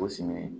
Kosɛbɛ